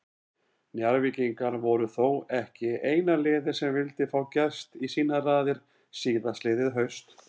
Njarðvíkingar voru þó ekki eina liðið sem vildi fá Gest í sínar raðir síðastliðið haust.